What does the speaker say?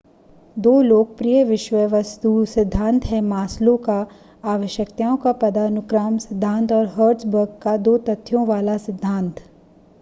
दो लोकप्रिय विषय-वस्तु सिद्धांत हैं मास्लो का आवश्यकताओं का पदानुक्रम सिद्धांत और हर्ट्ज़बर्ग का दो तथ्यों वाला सिद्धांत